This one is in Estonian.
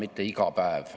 Austatud Riigikogu!